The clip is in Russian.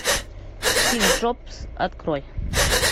стив джобс открой